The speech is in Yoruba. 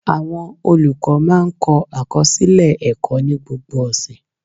Awọn olukọ máa ń kọ akọsilẹ ẹkọ ni gbogbo ọsẹ